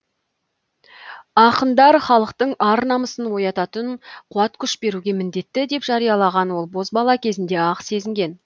ақындар халықтың ар намысын оятатын қуат күш беруге міндетті деп жариялаған ол бозбала кезінде ақ сезінген